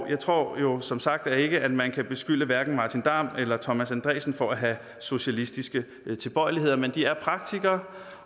jeg tror jo som sagt ikke at man kan beskylde hverken martin damm eller thomas andresen for at have socialistiske tilbøjeligheder men de er praktikere